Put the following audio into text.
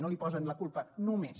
no li posen la culpa només